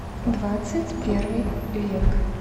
двадцать первый век